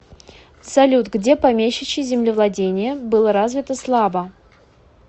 салют где помещичье землевладение было развито слабо